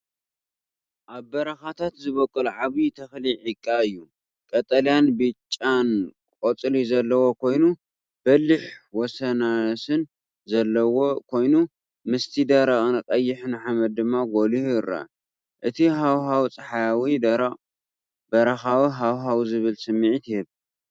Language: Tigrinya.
ኣብ በረኻታት ዝበቁል ዓቢ ተኽሊ ዒቓ እዩ። ቀጠልያን ብጫን ቆጽሊ ዘለዎ ኮይኑ፡ በሊሕ ወሰናስን ዘለዎ ኮይኑ፡ ምስቲ ደረቕን ቀይሕን ሓመድ ድማ ጐሊሑ ይርአ። እቲ ሃዋህው ጸሓያዊ፡ ደረቕ፡ በረኻዊ ሃዋህው ዝብል ስምዒት ይህብ።